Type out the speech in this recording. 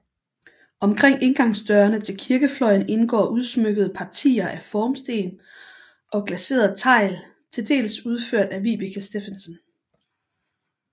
Omkring indgangsdørene til kirkefløjen indgår udsmykkede partier af formsten og glaseret tegl til dels udført af Vibeke Steffensen